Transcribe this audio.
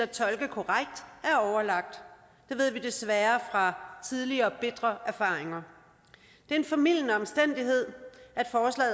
tolke korrekt det ved vi desværre tidligere bitre erfaringer det er en formildende omstændighed